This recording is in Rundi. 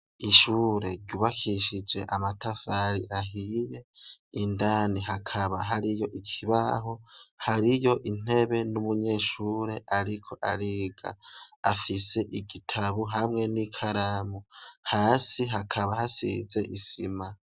Ishure ryubakishije amatafari ahiye indani hakaba hari yo ikibaho hari yo intebe n'umunyeshure, ariko ariga afise igitabu hamwe n'i kalamu hasi hakaba hasize isima.